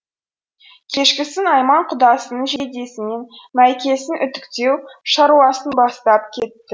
кешкісін айман құдасының жейдесі мен мәйкесін үтіктеу шаруасын бастап кетті